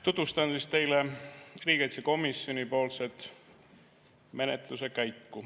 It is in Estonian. Tutvustan teile menetluse käiku riigikaitsekomisjonis.